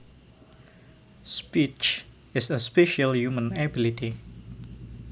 Speech is a special human ability